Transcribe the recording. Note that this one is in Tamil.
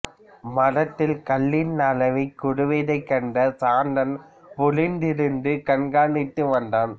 மரத்தில் கள்ளின் அளவு குறைவதைக் கண்ட சாந்தன் ஒளிந்திருந்து கண்காணித்து வந்தான்